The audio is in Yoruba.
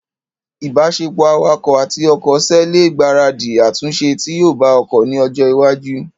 ìbáṣepọ̀ awakọ̀ àti ọkọ̀ ṣe ẹ lè gbaradì àtúnṣe tí yóò bá ọkọ̀ ní ọjọ́ iwájú